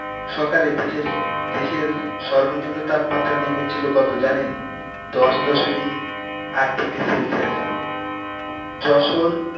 সকালে দেশের দেশের সর্বনিম্ন তাপমাত্রা নেমেছিল কত জানেন? দশ দশমিক আট degree celsius যশোর